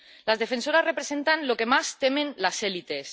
Las defensoras representan lo que más temen las élites.